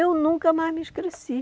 Eu nunca mais me esqueci.